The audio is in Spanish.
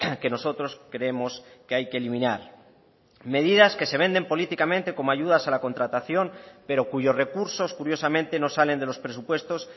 que nosotros creemos que hay que eliminar medidas que se venden políticamente como ayudas a la contratación pero cuyos recursos curiosamente no salen de los presupuestos